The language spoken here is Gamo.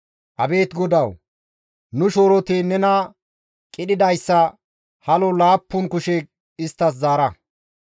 Abeet Godawu! Nu shooroti nena qidhidayssa halo laappun kushe isttas zaara.